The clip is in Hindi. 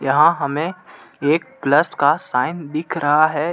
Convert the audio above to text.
यहाँ हमें एक प्लस का साइन दिख रहा है.